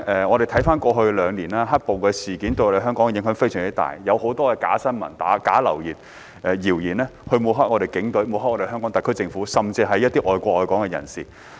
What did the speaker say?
我們回顧過去兩年，"黑暴"事件對香港的影響非常大，有很多假新聞、流言、謠言抹黑警隊，抹黑香港特區政府，甚至一些愛國愛港的人士。